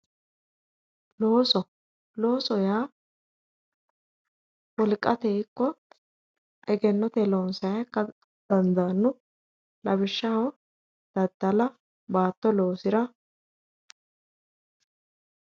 Loosoho yaa wolqateyii ikko egennoteyii loonsayiiha ikkara dandaanno lawishshaho daddala baatto loosira